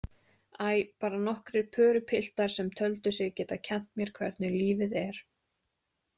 Æ, bara nokkrir pörupiltar sem töldu sig geta kennt mér hvernig lífið er.